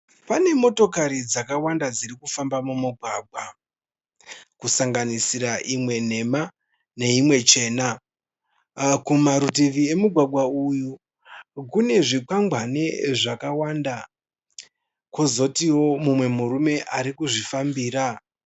Pane motokari dzakawanda dzirikufamba mumugwagwa. Kusanganisira imwe nhema neimwe chena. Kumarutivi emugwagwa uyu kune zvikwangwani zvakawanda. Kozotiwo mumwe murume ari kuzvifambira.